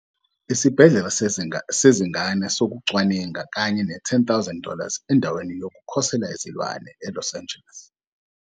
Isibhedlela Sezingane Sokucwaninga, kanye ne- 10,000 dollars endaweni yokukhosela izilwane eLos Angeles.